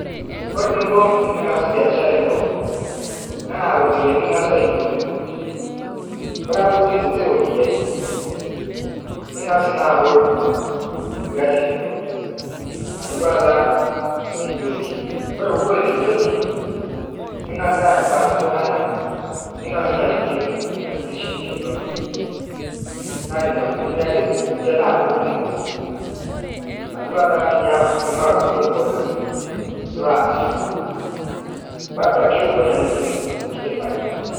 Kore ninko tining'asu beashara ino naa ropiyiani ing'asu aiturur nkuni, kore ake piitum nkuti ropiyiani ning'asu naa abol lgasi lino, atuwa taa kinyosi kore puubol kinyosi ning'asu abarn ltung'ana ning'asu naa aitijing' nena kuni silinkini inono, naa neina kunini ake ninche naaku kumok atuwaa taa tiniyak tinilo adung'udung' mboga nilo amir bado ake ewon ake atum nkiti faida.